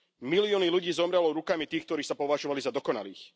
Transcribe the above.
Milióny ľudí zomrelo rukami tých, ktorí sa považovali za dokonalých.